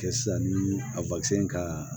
Kɛ sisan ni a ka